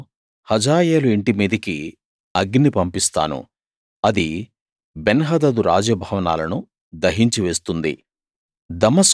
నేను హజాయేలు ఇంటి మీదకి అగ్ని పంపిస్తాను అది బెన్హదదు రాజ భవనాలను దహించి వేస్తుంది